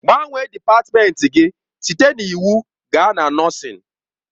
Gbanwee dịpatmenti gị site na iwu gaa na nọọsịn!